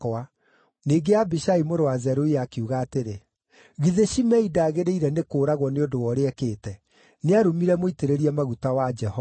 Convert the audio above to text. Ningĩ Abishai mũrũ wa Zeruia akiuga atĩrĩ, “Githĩ Shimei ndagĩrĩire nĩ kũũragwo nĩ ũndũ wa ũrĩa ekĩte? Nĩarumire mũitĩrĩrie maguta wa Jehova.”